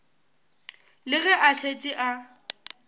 le ge a šetše a